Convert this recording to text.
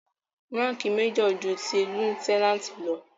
Ránkìì major ju ti lieutenant lọ.